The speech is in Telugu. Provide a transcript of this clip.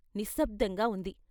నిశ్శబ్దంగా ఉంది.